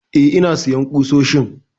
Eh ina sayan ƙusoshin